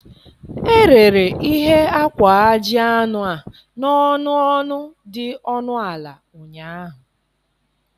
Erere ihe akwa ajị anụ a n'ọnụ ọnụ dị ọnụ ala ụnyaahụ